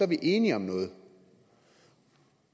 vi enige om noget